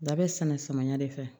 Da bɛ sɛnɛ samiya de fɛ